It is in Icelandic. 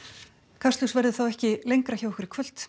kastljós verður þá ekki lengra hjá okkur í kvöld